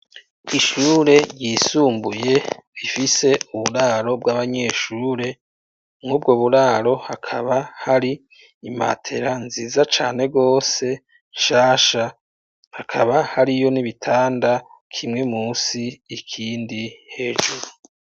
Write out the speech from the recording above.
Ishure yisumbuye ifise uburaro bw'abanyeshure mw'ubwo buraro hakaba hari imatera nziza cane gose shasha hakaba hariyo n'ibitanda kimwe musi ikindi hejuru.